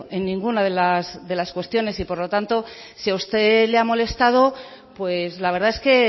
en ninguna de las cuestiones y por lo tanto si a usted le ha molestado la verdad es que